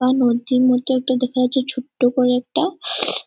বা নদ্ধির মতো একটা দেখা যাচ্ছে ছোট্ট করে একটা--